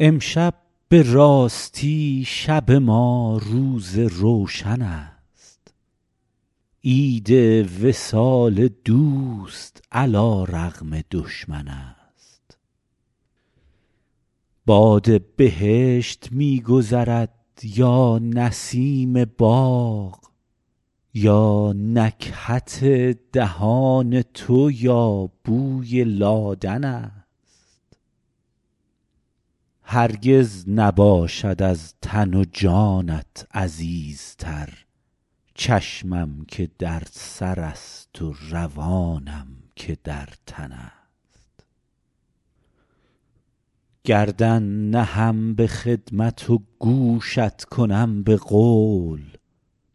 امشب به راستی شب ما روز روشن است عید وصال دوست علی رغم دشمن است باد بهشت می گذرد یا نسیم باغ یا نکهت دهان تو یا بوی لادن است هرگز نباشد از تن و جانت عزیزتر چشمم که در سرست و روانم که در تن است گردن نهم به خدمت و گوشت کنم به قول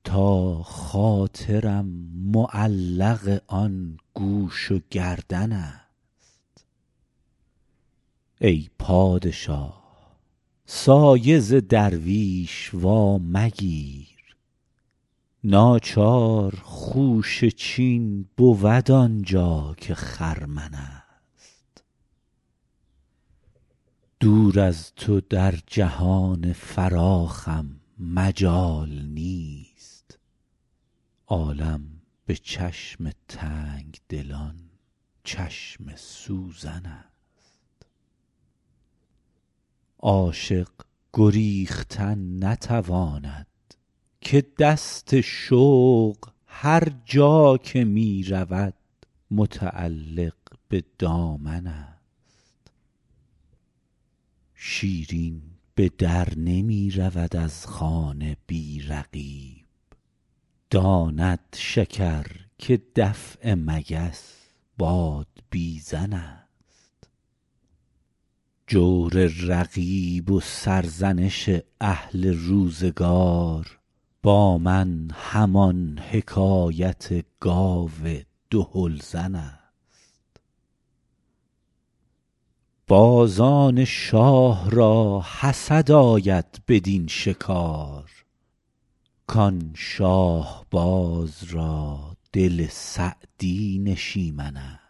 تا خاطرم معلق آن گوش و گردن است ای پادشاه سایه ز درویش وامگیر ناچار خوشه چین بود آن جا که خرمن است دور از تو در جهان فراخم مجال نیست عالم به چشم تنگ دلان چشم سوزن است عاشق گریختن نتواند که دست شوق هر جا که می رود متعلق به دامن است شیرین به در نمی رود از خانه بی رقیب داند شکر که دفع مگس بادبیزن است جور رقیب و سرزنش اهل روزگار با من همان حکایت گاو دهل زن است بازان شاه را حسد آید بدین شکار کان شاهباز را دل سعدی نشیمن است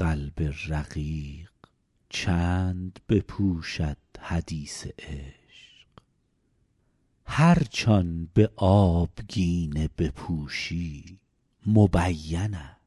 قلب رقیق چند بپوشد حدیث عشق هرچ آن به آبگینه بپوشی مبین است